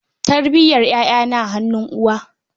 Tarbiyar ƴaƴa na hannun uwa.